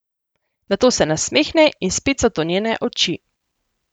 Nato se nasmehne in spet so to njene oči.